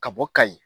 Ka bɔ kayi